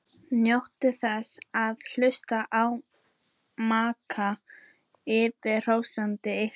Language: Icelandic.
Njótið þess að hlusta á maka ykkar hrósa ykkur.